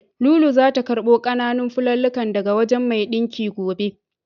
Lulu zata karɓo ƙananan fulallikan daga wajen mai ɗinkin gobe.